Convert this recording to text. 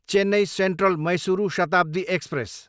Chennai Central, Mysuru Shatabdi express